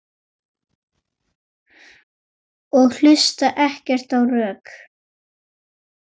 Og hlusta ekkert á rök.